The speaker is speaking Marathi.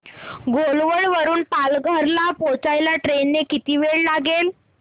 घोलवड वरून पालघर ला पोहचायला ट्रेन ने किती वेळ लागेल